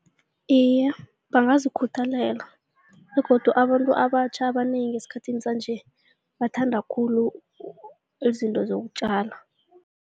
Iye, bangazikhuthalela begodu abantu abatjha abanengi esikhathini sanje bathanda khulu izinto zokutjala.